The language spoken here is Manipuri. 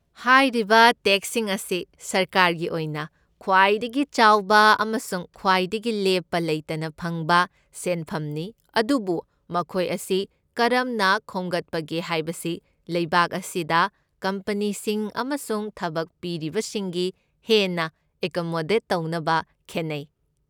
ꯍꯥꯏꯔꯤꯕ ꯇꯦꯛꯁꯁꯤꯡ ꯑꯁꯤ ꯁꯔꯀꯥꯔꯒꯤ ꯑꯣꯏꯅ ꯈ꯭ꯋꯏꯗꯒꯤ ꯆꯥꯎꯕ ꯑꯃꯁꯨꯡ ꯈ꯭ꯋꯥꯏꯗꯒꯤ ꯂꯦꯞꯄ ꯂꯩꯇꯅ ꯐꯪꯕ ꯁꯦꯟꯐꯝꯅꯤ ꯑꯗꯨꯕꯨ ꯃꯈꯣꯏ ꯑꯁꯤ ꯀꯔꯝꯅ ꯈꯣꯝꯒꯠꯄꯒꯦ ꯍꯥꯏꯕꯁꯤ ꯂꯩꯕꯥꯛ ꯑꯁꯤꯗ ꯀꯝꯄꯅꯤꯁꯤꯡ ꯑꯃꯁꯨꯡ ꯊꯕꯛ ꯄꯤꯔꯤꯕꯁꯤꯡꯒꯤ ꯍꯦꯟꯅ ꯑꯦꯀꯃꯣꯗꯦꯠ ꯇꯧꯅꯕ ꯈꯦꯠꯅꯩ꯫